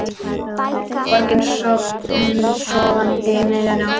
Borgin sofandi um miðja nótt.